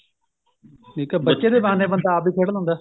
ਠੀਕ ਏ ਬੱਚੇ ਦੇ ਬਹਾਨੇ ਬੰਦਾ ਆਪ ਵੀ ਖੇਡ ਲੈਂਦਾ